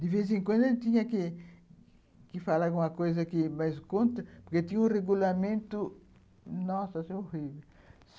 De vez em quando ela tinha que que falar alguma coisa que, mas conta, porque tinha um regulamento, nossa, horrível.